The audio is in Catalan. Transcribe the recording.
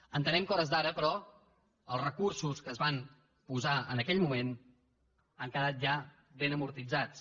entenem que a hores d’ara però els recursos que es van posar en aquell moment han quedat ja ben amortitzats